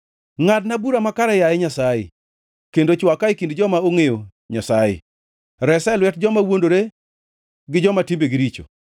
Ngʼadna bura makare, yaye Nyasaye, kendo chwaka e kind joma ok ongʼeyo Nyasaye; resa e lwet joma wuondore gi joma timbegi richo.